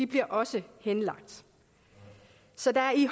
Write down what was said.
bliver også henlagt så der er i